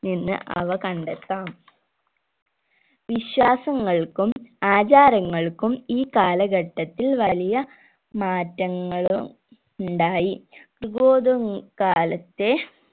നിന്ന് അവ കണ്ടെത്താം വിശ്വാസങ്ങൾക്കും ആചാരങ്ങൾക്കും ഈ കാലഘട്ടത്തിൽ വലിയ മാറ്റങ്ങളും ഉണ്ടായി കാലത്തെ